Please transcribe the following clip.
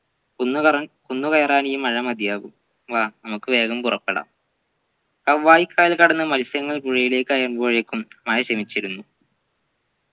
കുന്നുകറ കുന്നുകയറാൻ ഈ മഴ മതിയാകും വാ നമ്മുക്ക് വേഗം പുറപ്പെടാം കവ്വായിക്കായൽ കടന്നു മത്സ്യങ്ങൾ പുഴയിലേക്കായി മ്പോഴേക്കും മഴ ശമിച്ചിരുന്നു